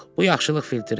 Bu yaxşılıq filtridir.